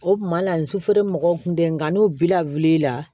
O kuma la sufɛ mɔgɔw kun tɛ nka n'u bila wulila